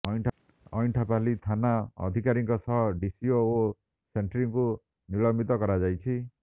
ଅଇଁଠାପାଲି ଥାନା ଅଧିକାରୀଙ୍କ ସହ ଡିସିଓ ଓ ସେଂଟ୍ରିଂଙ୍କୁ ନିଲମ୍ବିତ କରାଯାଇଛି